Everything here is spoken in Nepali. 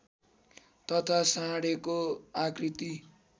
तथा साँढेको आकृति